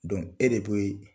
e de bɛ